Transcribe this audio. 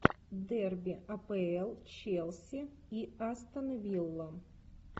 дерби апл челси и астон вилла